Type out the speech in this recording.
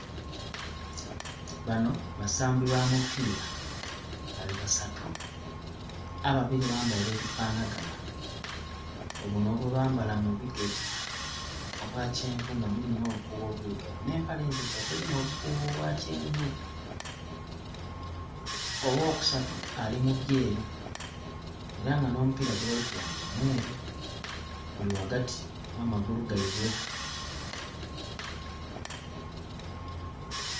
Bano basambi ba mupiira. Bali basatu. Ababiri bambaire ebifanaganha, buno bwebambala mu bigere obwa kyenvu nga mulimu nh'obukuubo obwirugavu, nh'empale endhirugavu erimu obukuubo bwa kyenvu. Ow'okusatu ali mu byeru, era nga n'omupiira gwebali kulwanira mweru. Guli ghagati gh'amagulu ghaibwe.